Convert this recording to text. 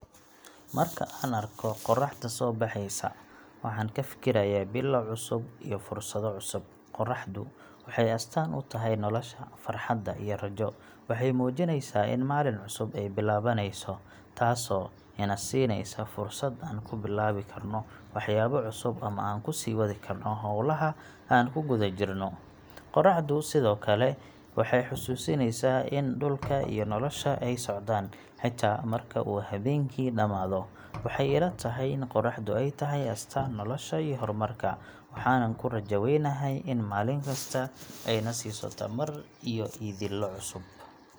Marka aan arko qorraxda soo baxaysa, waxaan ka fikirayaa bilow cusub iyo fursado cusub. Qorraxdu waxay astaan u tahay nolosha, farxadda, iyo rajo. Waxay muujinaysaa in maalin cusub ay bilaabanayso, taasoo ina siinaysa fursad aan ku bilaabi karno waxyaabo cusub ama aan ku sii wadi karno hawlaha aan ku guda jirno. Qorraxdu sidoo kale waxay xasuusinaysaa in dhulka iyo nolosha ay socdaan, xitaa marka uu habeenkii dhammaado. Waxay ila tahay in qorraxdu ay tahay astaan nolosha iyo horumarka, waxaanan ku rajo weynahay in maalin kasta ay na siiso tamar iyo yididiilo cusub.